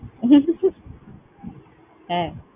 হ্যাঁ।